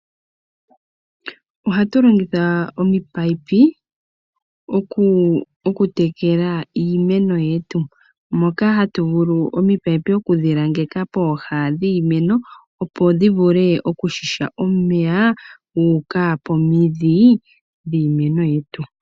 Ohatu longitha oopaipi okutekela iimeno yetu, moka hatu vulu okulangeka opaipi pooha dhiimeno, opo dhi vule okuziya omeya gu uka pomidhi dhiimeno yetu.